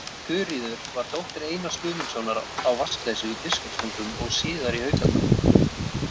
Þuríður var dóttir Einars Guðmundssonar á Vatnsleysu í Biskupstungum og síðar í Haukadal.